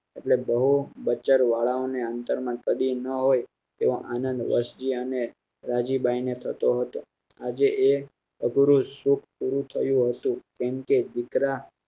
એટલે બહુ બચ્ચર વાળા ને આંતર માં કડી ના હોય એવો આનંદ વરસી અને રાજીબાઈ ને થતો હતો આજે તે અઘરું સુખ પુરુઠયું હતું કેમ કે દીકરા